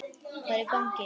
Hvað er í gangi!